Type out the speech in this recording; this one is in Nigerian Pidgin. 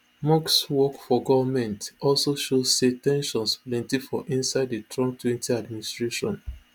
musk work for goment also show say ten sions plenty for inside di trump twenty administration